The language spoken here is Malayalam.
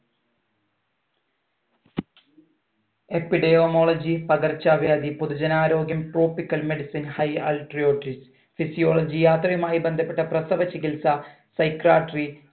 epidemiology പകർച്ചവ്യാധി പൊതുജനാരോഗ്യം tropical medicine high altriotry physiology യാത്രയുമായി ബന്ധപ്പെട്ട പ്രസവ ചികിത്സ psychiatry